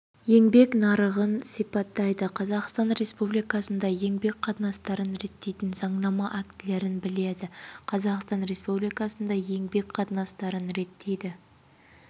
еңбек нарығын сипаттайды қазақстан республикасында еңбек қатынастарын реттейтін заңнама актілерін біледі қазақстан республикасында еңбек қатынастарын реттейтін